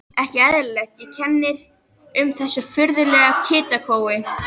Ekki eðlilegt, og kennir um þessu furðulega hitakófi.